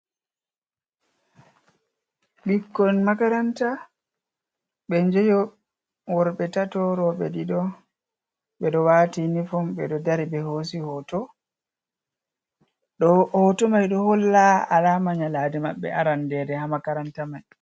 "Ɓikkon makaranta" ɓe njayo worbe tato roɓe ɗiɗo ɓeɗo wati inifom ɓeɗo dari ɓe hosi hoto hoto mai ɗo holla alama nyaladi maɓɓe arande ha makaranta mai.